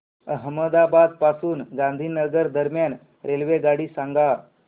अहमदाबाद पासून गांधीनगर दरम्यान रेल्वेगाडी सांगा